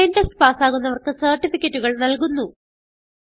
online test പാസ്സാകുന്നവർക്ക് സർട്ടിഫികറ്റുകൾ നല്കുന്നു